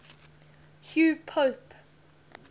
hugh pope